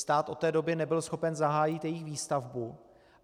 Stát od té doby nebyl schopen zahájit jejich výstavbu.